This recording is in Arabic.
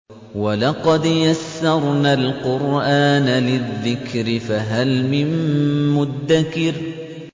وَلَقَدْ يَسَّرْنَا الْقُرْآنَ لِلذِّكْرِ فَهَلْ مِن مُّدَّكِرٍ